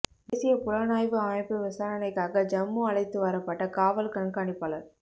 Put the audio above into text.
தேசிய புலனாய்வு அமைப்பு விசாரணைக்காக ஜம்மு அழைத்து வரப்பட்ட காவல் கண்காணிப்பாளர்